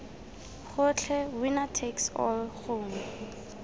gotlhe winner takes all gongwe